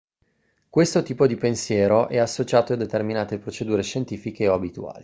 questo tipo di pensiero è associato a determinate procedure scientifiche o abituali